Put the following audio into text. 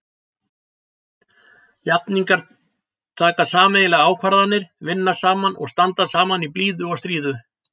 Jafningjar taka sameiginlegar ákvarðanir, vinna saman og standa saman í blíðu og stríðu.